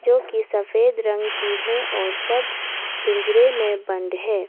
जो कि सफेद रंग की है और सब पिंजरे में बंद है।